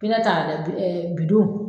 I ka taa kɛ bi ɛɛ bidon